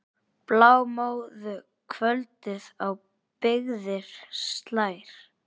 Blámóðu kvöldið á byggðir slær.